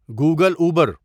Google Uber